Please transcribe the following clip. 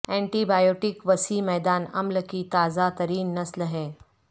anti biotic وسیع میدان عمل کی تازہ ترین نسل ہیں